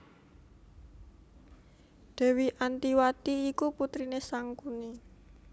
Dèwi Antiwati iku putriné Sangkuni